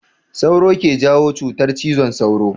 Sauro ke jawo cutar cizon sauro.